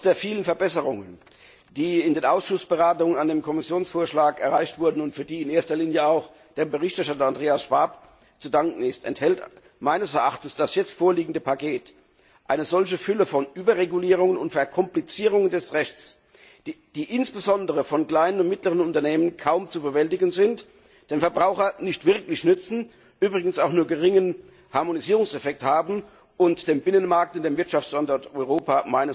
Trotz der vielen Verbesserungen, die in den Ausschussberatungen an dem Kommissionsvorschlag erreicht wurden und für die in erster Linie auch dem Berichterstatter, Andreas Schwab, zu danken ist, enthält meines Erachtens das jetzt vorliegende Paket eine Fülle von Überregulierungen und Verkomplizierungen des Rechts, die insbesondere von kleinen und mittleren Unternehmen kaum zu bewältigen sind, dem Verbraucher nicht wirklich nützen, übrigens auch nur einen geringen Harmonisierungseffekt haben und den Binnenmarkt und den Wirtschaftsstandort Europa